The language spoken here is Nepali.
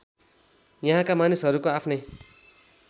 यहाँका मानिसहरूको आफ्नै